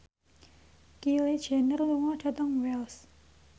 Kylie Jenner lunga dhateng Wells